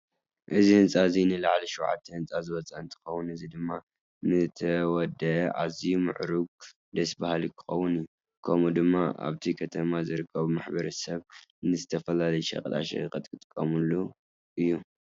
እዚ ህንዛ እዚ ንዓል 7 ህንፃ ዝወፀ እንትከውን እዚ ድማ ምተወደኣ ኣዝዩ ምዕርጉን ደስ ባሃሊን ክከውን እዩ። ከምኡ ድማ ኣብቲ ከተማ ዝርከብ ማሕበረሰብ ንዝተፈላለዩ ሸቀጣ ሸቀጥ ክጥቀመሉ እዩ።